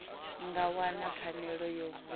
nga wana pfanelo ya vhuṋe